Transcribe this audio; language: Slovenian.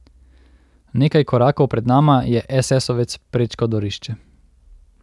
Nekaj korakov pred nama je esesovec prečkal dvorišče.